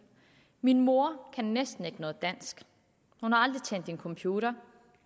min mor kan næsten ikke noget dansk hun har aldrig tændt en computer